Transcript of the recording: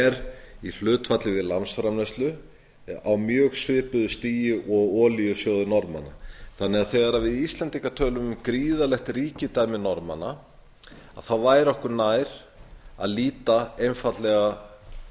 er í hlutfalli við landsframleiðslu á mjög svipuðu stigi og olíusjóður norðmanna þannig að þegar við íslendingar tölum um gríðarlegt ríkidæmi norðmanna væri okkur nær að líta einfaldlega